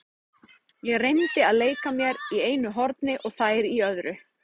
Ég reyndi að leika mér í einu horni og þær í öðru.